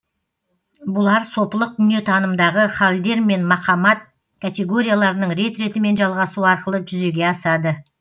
бұлар сопылық дүниетанымдағы халдер мен мақамат категорияларының рет ретімен жалғасуы арқылы жүзеге асады